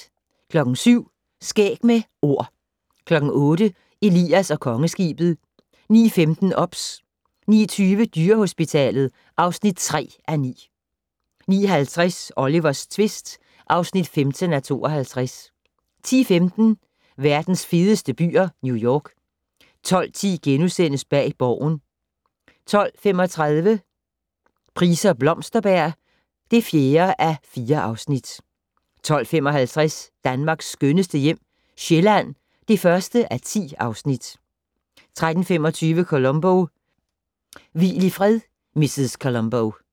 07:00: Skæg med Ord 08:00: Elias og Kongeskibet 09:15: OBS 09:20: Dyrehospitalet (3:9) 09:50: Olivers tvist (15:52) 10:15: Verdens fedeste byer - New York 12:10: Bag Borgen * 12:35: Price og Blomsterberg (4:4) 12:55: Danmarks skønneste hjem - Sjælland (1:10) 13:25: Columbo: Hvil i fred, mrs. Columbo